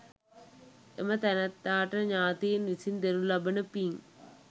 එම තැනැත්තාට ඥාතීන් විසින් දෙනු ලබන පින්